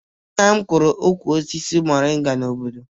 Nna m kọrọ ukwu osisi moringa n'obodo